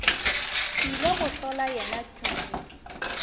ile go hlola yena tumi